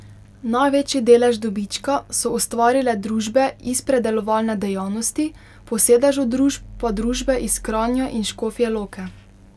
Največji delež dobička so ustvarile družbe iz predelovalne dejavnosti, po sedežu družb pa družbe iz Kranja in Škofje Loke.